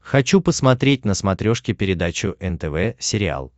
хочу посмотреть на смотрешке передачу нтв сериал